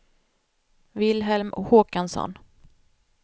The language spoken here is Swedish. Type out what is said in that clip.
Wilhelm Håkansson